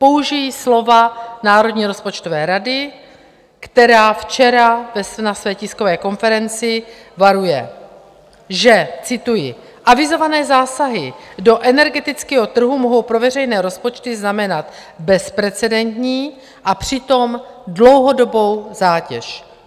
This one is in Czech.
Použiji slova Národní rozpočtové rady, která včera na své tiskové konferenci varuje, že - cituji: Avizované zásahy do energetického trhu mohou po veřejné rozpočty znamenat bezprecedentní a přitom dlouhodobou zátěž.